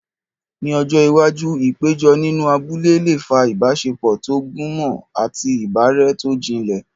Ní ọjọ́ iwájú, ìpéjọ nínú abúlé lè fa ìbáṣepọ̀ tó gúnmọ́ àti ìbárẹ́ tó jinlẹ̀.